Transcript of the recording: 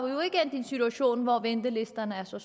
en situation hvor ventelisterne er så